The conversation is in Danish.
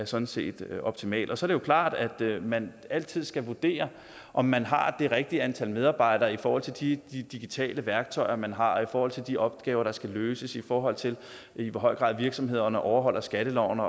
sådan set optimalt så er det jo klart at man altid skal vurdere om man har det rigtige antal medarbejdere i forhold til de digitale værktøjer man har og i forhold til de opgaver der skal løses i forhold til i hvor høj grad virksomhederne overholder skatteloven